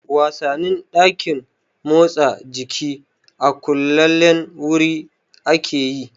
Wasannin ɗakin motsa jiki a kullallen wuri ake yi